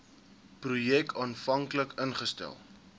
projek aanvanklik ingestel